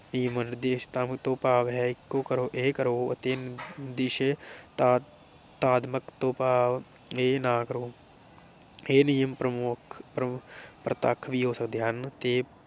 ਨਿਸ਼ੇਧਾਤਮ ਤੋਂ ਭਾਵ ਹੈ ਕਰੋ ਇਹ ਕਰੋ ਅਤੇ ਨਿਸ਼ੇ ਤਤਾਮਕ ਤੋਂ ਭਾਵ ਇਹ ਨਾ ਕਰੋ। ਇਹ ਨਿਯਮ ਪ੍ਰਮੁੱਖ ਪ੍ਰਤੱਖ ਵੀ ਹੋ ਸਕਦੇ ਹਨ ਤੇ